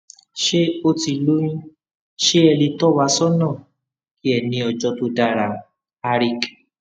ṣe o ti loyun ṣe e le towasona ki e ni ojo to dara harik